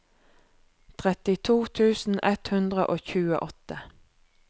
trettito tusen ett hundre og tjueåtte